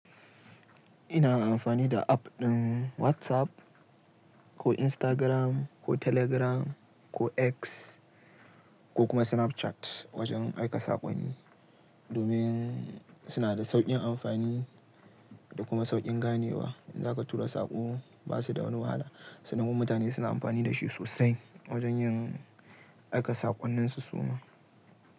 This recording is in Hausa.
Ina amfani da app ɗin WhatsApp ko Instagram ko Telegram ko X ko kuma Snapchat wajen aika saƙonni. Domin suna da sauƙin amfani da kuma sauƙin ganewa. In za ka tura saƙo ba su da wani wahala. Sannan mutane suna amfani da shi sosai wajen yin aika saƙonninsu suma.